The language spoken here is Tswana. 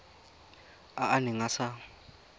a a neng a sa